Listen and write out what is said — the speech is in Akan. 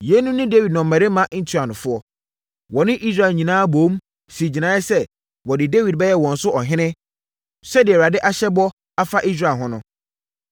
Yeinom ne Dawid nnɔmmarima ntuanofoɔ. Wɔne Israel nyinaa boom, sii gyinaeɛ sɛ wɔde Dawid bɛyɛ wɔn so ɔhene sɛdeɛ Awurade ahyɛ bɔ afa Israel ho no.